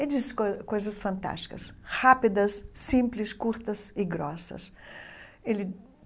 Ele disse coi coisas fantásticas, rápidas, simples, curtas e grossas ele.